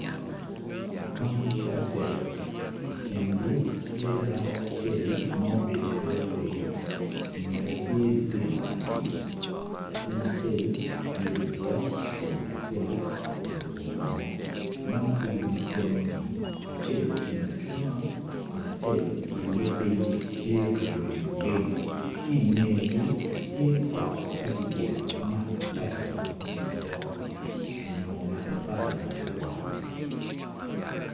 Mon adek ikingi tye dako acel ma obedo abeda piny ingete tye lutino aryo latin acel tye ludok kun acel oruko bongo mon aryo mukene ni acel ocung acunga kun acel okule piny tye ka yweno piny ki ingegi tye ot ma kigedo ki matafali ma kome obok onyo matafali ma ki wango